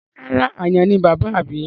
Rárá, àyàn ni bàbáà mi.